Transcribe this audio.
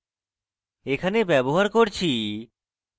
এখানে ব্যবহার করছি